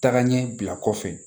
Tagaɲɛ bila kɔfɛ